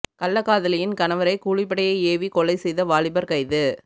கள்ளக்காதலியின் கணவரை கூலிப்படையை ஏவிகொலை செய்த வாலிபர் கைது